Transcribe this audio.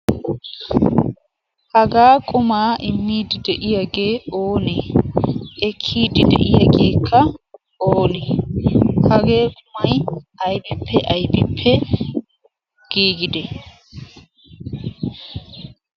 hagaa qumaa immiidi de'iyaagee ooneee ekkiiddi de'iyaageekka oonee hagee qumay aybippe aybiippe giigide?